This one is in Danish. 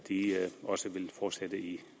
også vil fortsætte i